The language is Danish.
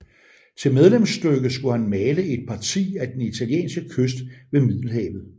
Til medlemsstykke skulle han male Et Parti af den italienske Kyst ved Middelhavet